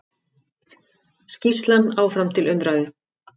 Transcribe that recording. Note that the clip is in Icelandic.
Skýrslan áfram til umræðu